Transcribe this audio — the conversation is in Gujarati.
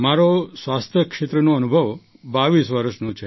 મારો સ્વાસ્થ્ય ક્ષેત્રનો અનુભવ ૨૨ વર્ષનો છે